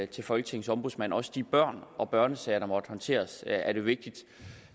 til folketingets ombudsmand også de børn og børnesager der måtte håndteres er det vigtigt